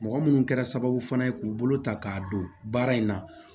Mɔgɔ minnu kɛra sababu fana ye k'u bolo ta k'a don baara in na